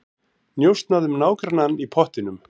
Njósnað um nágrannann í pottinum